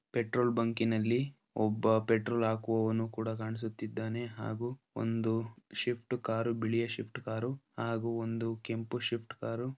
petrol ಬಂಕಿನಲ್ಲಿ ಒಬ್ಬ petrol ಹಾಕುವವನು ಕೂಡ ಕಾಣಿಸುತಿದ್ದಾನೆ ಹಾಗು ಒಂದು ಶಿಫ್ಟ್ ಕಾರು ಬಿಳಿಯ ಶಿಫ್ಟ್ ಕಾರುಹಾಗು ಒಂದು ಕೆಂಪು ಶಿಫ್ಟ್ ಕಾರು--